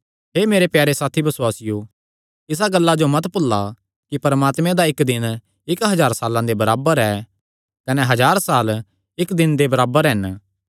हे मेरे प्यारे साथी बसुआसियो इसा गल्ला जो मत भुल्ला कि परमात्मे दा इक्क दिन इक्क हज़ार साल्लां दे बराबर ऐ कने हज़ार साल इक्क दिन दे बराबर हन